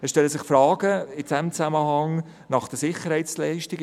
In diesem Zusammenhang stellen sich Fragen zu den Sicherheitsleistungen: